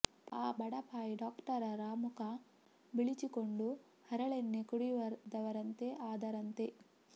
ಪಾಪ ಆ ಬಡಪಾಯಿ ಡಾಕ್ಟರರ ಮುಖ ಬಿಳಿಚಿಕೊಂಡು ಹರಳೆಣ್ಣೆ ಕುಡಿದವರಂತೆ ಆದರಂತೆ